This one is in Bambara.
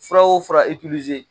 Fura o fura